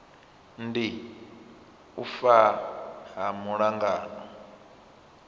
ndi u fa ha lungano